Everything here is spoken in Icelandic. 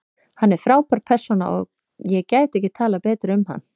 Hann er frábær persóna og ég gæti ekki talað betur um hann.